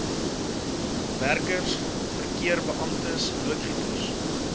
werkers verkeerbeamptes loodgieters